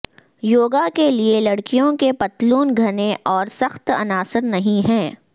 یوگا کے لئے لڑکیوں کے پتلون گھنے اور سخت عناصر نہیں ہیں